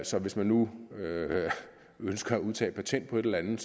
så hvis man nu ønsker at udtage patent på et eller andet